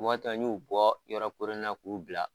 Wagati dɔ n y'u bɔ yɔrɔ koronnen na k'u bila